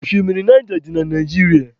Oshimiri Naija dị na Naijiria.